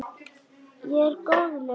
Ég er góðleg.